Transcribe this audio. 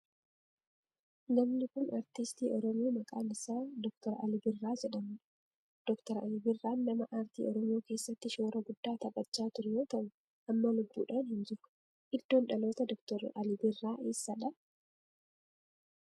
Namni kun aartistii oromoo maqaan isaa Dr. Alii Birraa jedhamudha. Dr. Alii Birraa nama aartii oromoo keessatti shoora guddaa taphachaa ture yoo ta'u amma lubbuudhan hin jiru. Iddoon dhalootaa Dr. Alii Birraa eessadha?